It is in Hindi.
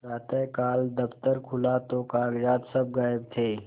प्रातःकाल दफ्तर खुला तो कागजात सब गायब थे